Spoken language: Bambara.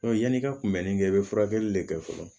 yanni i ka kunbɛnni kɛ i bɛ furakɛli de kɛ fɔlɔ